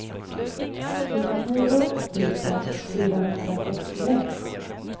tjugonio tusen fyrahundrasextioett